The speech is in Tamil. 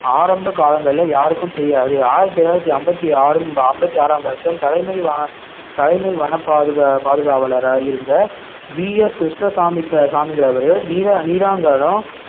ஆரம்ப காலங்கள்ல யாருக்கும் தெரியாது ஆயிரத்தி தொள்ளாயிரத்தி ஐம்பத்தி ஆறும் ஐம்பத்தி ஆறாம் வருஷம் தலைமை வ~ தலைமை வன பாதுக~ பாதுகாவலரா இருந்த கிருஷ்ணசாமிங்க~ கிருஷ்ணசாமிங்கிறவரு